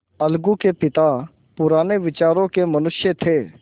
अलगू के पिता पुराने विचारों के मनुष्य थे